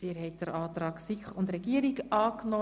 Sie haben den Antrag SiK und Regierung angenommen.